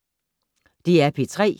DR P3